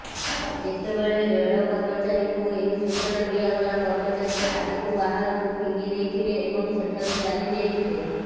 ଯେତେବେଳେ ରେଳ କର୍ମଚାରୀଙ୍କୁ ଏହି ସୂଚନା ଦିଆଗଲା କର୍ମଚାରୀ ଖାଦ୍ୟକୁ ବାହାରକୁ ଫିଙ୍ଗିଦେଇଥିଲେ ଏବଂ ସେଠାରୁ ଚାଲିଯାଇଥିଲେ